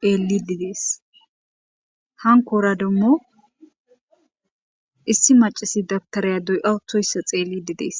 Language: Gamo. xelidi des ankora demo issi macashiya dabutera doya wothoysa xelidi des